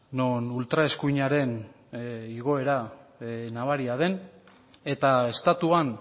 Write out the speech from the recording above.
non ultra eskuinaren igoera nabaria den eta estatuan